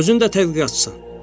Özün də tədqiqatçısan.